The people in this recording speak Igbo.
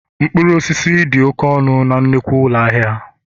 mkpụrụ osisi dị oke ọnụ na nnukwu ụlọ ahịa